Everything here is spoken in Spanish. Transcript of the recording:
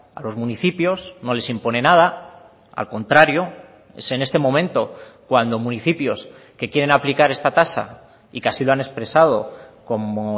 a los municipios no les impone nada al contrario es en este momento cuando municipios que quieren aplicar esta tasa y que así lo han expresado como